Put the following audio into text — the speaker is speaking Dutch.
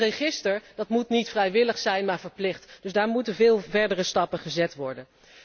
Dat register moet niet vrijwillig zijn, maar verplicht. Dus daar moeten veel verdere stappen gezet worden.